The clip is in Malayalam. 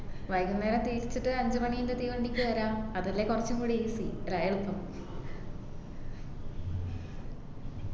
വൈകുന്നേരം തിരിച്ചിട്ട് ഒരു അഞ്ചു മണീന്റെ തീവണ്ടിക്ക് വരാം അതല്ലേ കൊറച്ചും കൂടി easy